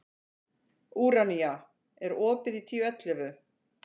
Úranía, er opið í Tíu ellefu?